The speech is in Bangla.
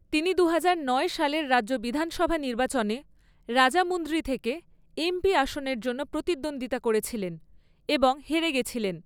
তিনি দুহাজার নয় সালের রাজ্য বিধানসভা নির্বাচনে রাজামুন্দ্রি থেকে এমপি আসনের জন্য প্রতিদ্বন্দ্বিতা করেছিলেন এবং হেরে গেছিলেন।